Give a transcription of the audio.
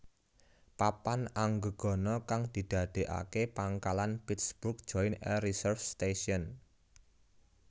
Papan Anggegana kang didadekake pangkalan Pittsburgh Joint Air Reserve Station